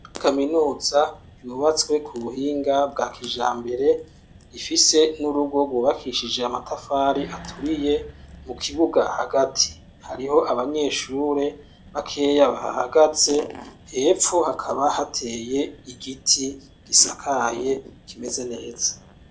Kaminuza yubatswe ku buhinga bwa kijambere, rifise n'urugo rwubakishije amatafari aturiye mu kibuga hagati hariho abanyeshure bakeya bahahagaze, hepfo hakaba hateye igiti gisakaye kimeze neza.